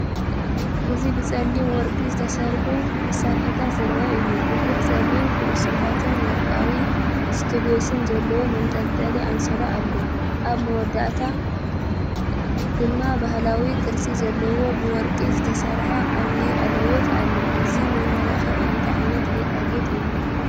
እዚ ብጸሊምን ወርቅን ዝተሰርሑ መሳርሒታት ዘርኢ እዩ። ብዙሕ ጸሊም ኩዕሶታትን ወርቃዊ ስቱድስን ዘለዎ መንጠልጠሊ ኣንሶላ ኣሎ፡ ኣብ መወዳእታ ድማ ባህላዊ ቅርጺ ዘለዎ ብወርቂ ዝተሰርሐ ዓቢ ቀለቤት ኣሎ። እዚ መመላክዒ እንታይ ዓይነት ጌጣጌጥ እዩ?